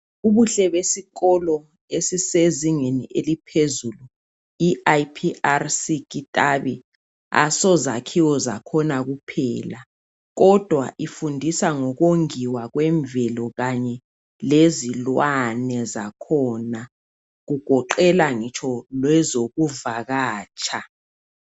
Ubuhle besikolo esisezingeni eliphezulu i IPRC KITABI asozakhiwo zakhona kuphela kodwa ifundisa ngokongiwa kwemvelo kanye lezilwane zakhona kugoqela ngitsho lezokuvakatsha